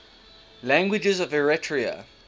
languages of eritrea